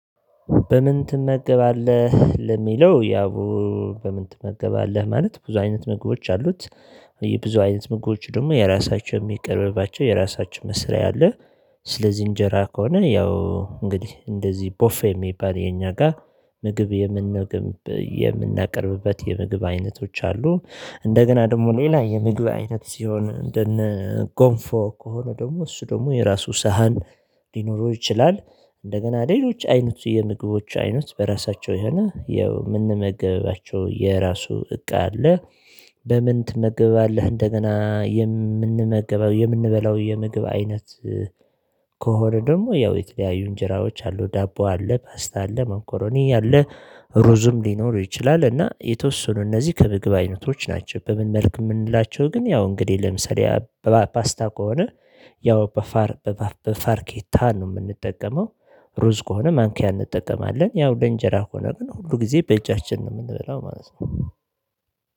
በምን ትመገባለህ ለሚለው ያው በምን ትመገባለህ? ማለት ብዙ አይነት ምግቦች አሉት የብዙ አይነት ምግቦዎች ደግሞ የራሳቸው የሚቀርብባቸው የራሳቸው መስሪያ አለ። ስለዚህ እንጀራ ከሆነ ያው እንግዲህ እንደዚህ ቦፌ የሚባል እኛ ጋር ምግብ የምንመገብ የምናቀርብበት የምግብ አይነቶች አሉ። እንደገና ደግሞ ሌላ የምግብ አይነት ሲሆን እንደነ ጎንፎ ከሆነ ደግሞ እሱ ደግሞ የራሱ ሳህን ሊኖረው ይችላል። እንደገና ሌሎች አይነቱ የምግቦች አይነት በራሳቸው የሆነ የምንመገባቸው የራሱ እቃ አለ። በምን ትመገባለህ? እንደገና የምንመገበው የምንበላው የምግብ አይነት ከሆነ ደግሞ ያው የተለያዩ እንጀራዎች አሉ ዳቦ አለ ፓስታ አለ መኮሮኒ አለ። ሩዝም ሊኖር ይችላል እና የተወሰኑ እነዚህ ከምግብ አይነቶች ናቸው። በምን መልኩ የምንላቸው ግን ያው እንግዲህ ለምሳሌ በፓስታ ከሆነ ያው በፋር በፋርኬታ ነው የምንጠቀመው። ሩዝ ከሆነ ማንኪያ እንጠቀማለን ያው ለእንጀራ ከሆነ ግን ሁሉ ጊዜ ያው በእጃችን ነው የምንበላው ማለት ነው